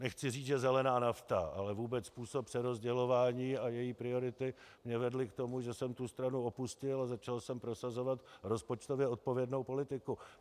Nechci říci, že zelená nafta, ale vůbec způsob přerozdělování a její priority mě vedly k tomu, že jsem tu stranu opustil a začal jsem prosazovat rozpočtově odpovědnou politiku.